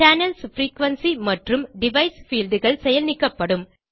channels frequency மற்றும் device fieldகள் செயல் நீக்கப்படும்